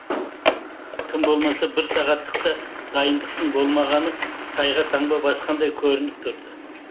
тым болмаса бір сағаттық та дайындықтың болмағаны тайға таңба басқандай көрініп тұрды